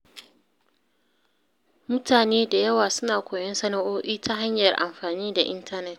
Mutane da yawa suna koyon sana’o’i ta hanyar amfani da intanet.